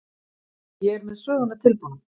Ég er með söguna tilbúna.